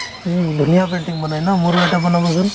উম, ধুনীয়া painting বনাই ন মোৰো এটা বনাব চোন